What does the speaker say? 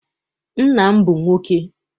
Nna m bụ nwoke.